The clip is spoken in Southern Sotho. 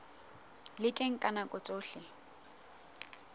le teng ka nako tsohle